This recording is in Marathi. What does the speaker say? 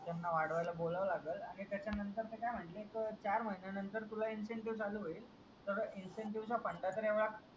त्याना वाढवायला बोलावं लागेल आणि त्याचा नंतरच काय म्हन्ले चार महिन्या नंतर तुला इन्सेन्टिव्ह चालू होईल तर इन्सेन्टिव्ह चा फंटा तर एवढा